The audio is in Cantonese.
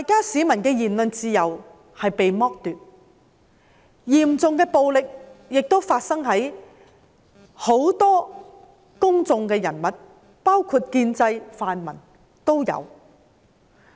市民的言論自由被剝奪，嚴重的暴力亦發生在很多公眾人物身上，包括建制、泛民議員。